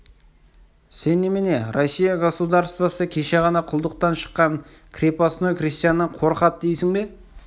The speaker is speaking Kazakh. сен немене россия государствосы кеше ғана құлдықтан шыққан крепостной крестьяннан қорқады дейсің бе